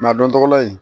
a dontɔla in